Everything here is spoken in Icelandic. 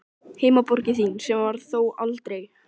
Heimaborg þín, sem var það þó aldrei.